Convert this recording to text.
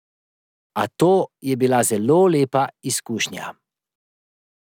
A to je bila zelo lepa izkušnja.